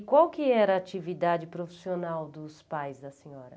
Qual que era a atividade profissional dos pais da senhora?